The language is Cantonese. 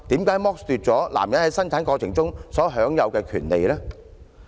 為何要剝奪男人在生兒育女中享有的權利呢？